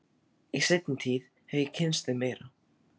Í seinni tíð hef ég kynnst þeim meira.